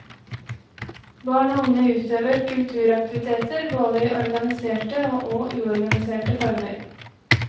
Barn og unge utøver kulturaktiviteter både i organiserte og uorganiserte former.